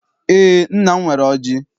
Eé, nna m nwere ọjị.